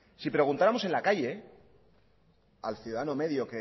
si preguntáramos en la calle al ciudadano medio